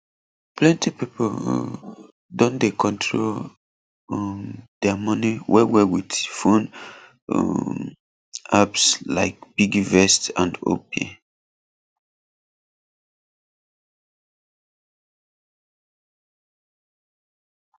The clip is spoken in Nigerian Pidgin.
plenty pipo um don dey control um dia money wellwell with phone um apps like piggyvest and opay